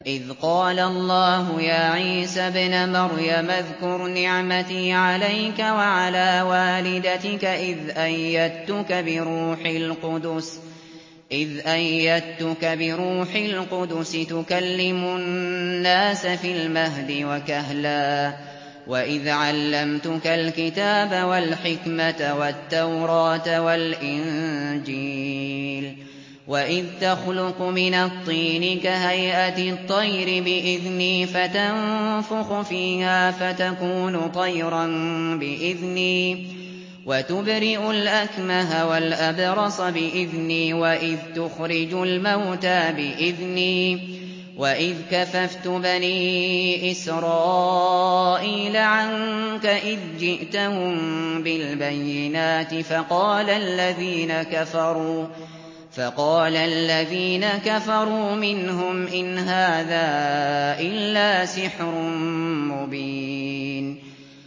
إِذْ قَالَ اللَّهُ يَا عِيسَى ابْنَ مَرْيَمَ اذْكُرْ نِعْمَتِي عَلَيْكَ وَعَلَىٰ وَالِدَتِكَ إِذْ أَيَّدتُّكَ بِرُوحِ الْقُدُسِ تُكَلِّمُ النَّاسَ فِي الْمَهْدِ وَكَهْلًا ۖ وَإِذْ عَلَّمْتُكَ الْكِتَابَ وَالْحِكْمَةَ وَالتَّوْرَاةَ وَالْإِنجِيلَ ۖ وَإِذْ تَخْلُقُ مِنَ الطِّينِ كَهَيْئَةِ الطَّيْرِ بِإِذْنِي فَتَنفُخُ فِيهَا فَتَكُونُ طَيْرًا بِإِذْنِي ۖ وَتُبْرِئُ الْأَكْمَهَ وَالْأَبْرَصَ بِإِذْنِي ۖ وَإِذْ تُخْرِجُ الْمَوْتَىٰ بِإِذْنِي ۖ وَإِذْ كَفَفْتُ بَنِي إِسْرَائِيلَ عَنكَ إِذْ جِئْتَهُم بِالْبَيِّنَاتِ فَقَالَ الَّذِينَ كَفَرُوا مِنْهُمْ إِنْ هَٰذَا إِلَّا سِحْرٌ مُّبِينٌ